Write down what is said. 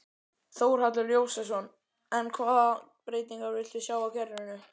Þórhallur Jósefsson: En hvaða breytingar viltu sjá á kerfinu?